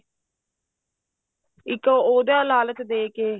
ਇੱਕ ਉਹਦਾ ਲਾਲਚ ਦੇ ਕੇ